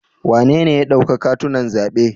Wanene ya dauka katunan zaɓe?